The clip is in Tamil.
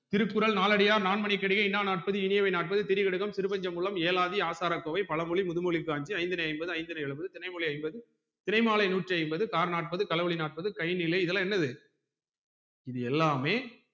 திருக்குறள் நாலடியார் நான்மனிகடிகை இன்னார்நாற்பது இனியவைநாற்பது திருகடுகம் திருபஞ்சகுலம் ஏலாதி ஆசாரக்கோவை பழமொழி முதுமொழி காஞ்சி ஐந்திணை என்பது ஐந்திணை எழுவது திணைமொழி ஐம்பது தினைமாலை நூற்றி ஐம்பது தார் நாற்பது தலை வழி நாற்பது கை நிலை இதலாம் என்னது இது எல்லாமே